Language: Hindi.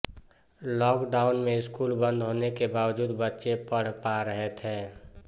लॉकडाउन में स्कूल बंद होने के बावजूद बच्चे पढ़ पा रहे थे